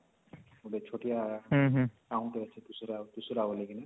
ଗୋଟେ ଛୋଟିଆ ଗାଁ ଟେ ଅଛି ଦୁସୁରା ଦୁସୁରା ବୋଲି କିନା